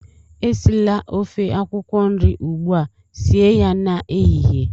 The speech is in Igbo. Esila ofe akwụkwọ nri ugbua, sie ya n'ehihie!